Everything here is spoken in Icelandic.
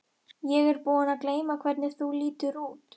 Ég er búin að gleyma hvernig þú lítur út.